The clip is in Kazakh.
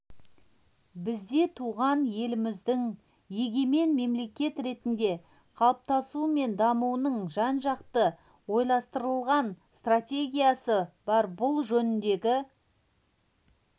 бізде туған еліміздің егемен мемлекет ретінде қалыптасуы мен дамуының жан-жақты ойластырылған стратегиясы бар бұл жөніндегі